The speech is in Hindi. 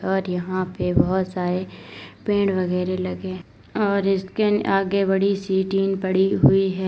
और यहां पे बहुत सारे पेड़ वगैरा लगे और इसके आगे बड़ी सी टीन पड़ी हुई है।